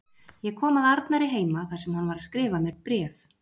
Ég kom að Arnari heima þar sem hann var að skrifa mér bréf.